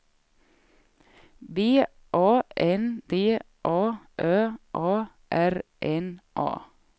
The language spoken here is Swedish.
B A N D A Ö A R N A